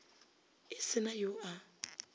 e se na yo a